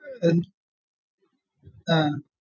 ആഹ്